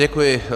Děkuji.